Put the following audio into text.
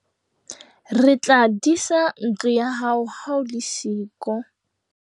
Re tla disa ntlo ya hao ha o le siyo.